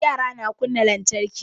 Yara na kunna lantarki